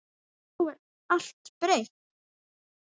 Nú er allt breytt.